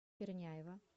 черняева